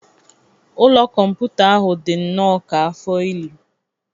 Ụlọ kọmputa ahụ dị nnọọ ka afọ ili.